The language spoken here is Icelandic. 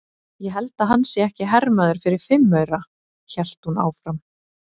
Ég held að hann sé ekki hermaður fyrir fimm aura, hélt hún áfram.